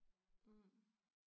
Mh